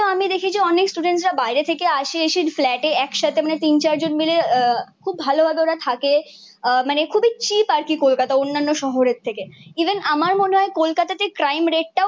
আমি দেখেছি অনেক স্টুডেন্টরা বাইরে থেকে আসে এসে ফ্ল্যাটে একসাথে মানে তিন চারজন মিলে আহ খুব ভালো ভাবে ওরা থাকে। আহ মানে খুবই চিপ আর কি কলকাতা অন্যান্য শহরের থেকে। ইভেন আমার মনে হয় কলকাতাতে ক্রাইম রেট টাও